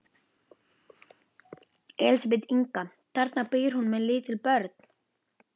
Elísabet Inga: Þarna býr hún með lítil börn?